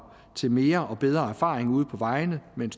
til mere og bedre erfaring ude på vejene med